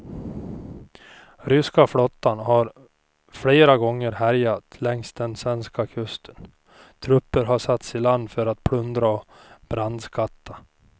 Ryska flottan har flera gånger härjat längs den svenska kusten, trupper har satts i land för att plundra och brandskatta.